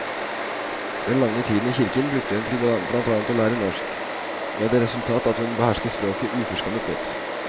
Den lange tiden i kirken brukte hun blant annet til å lære norsk, med det resultat at hun behersker språket uforskammet godt.